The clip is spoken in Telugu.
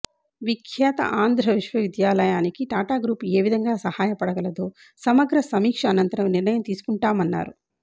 విఖ్యాత ఆంధ్ర విశ్వవిద్యాలయానికి టాటా గ్రూపు ఏ విధంగా సాయపడగలదో సమగ్ర సమీక్ష అనంతరం నిర్ణయం తీసుకుంటామన్నారు